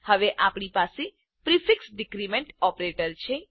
હવે આપણી પાસે પ્રિફિક્સ ડીક્રીમેન્ટ ઓપરેટર છે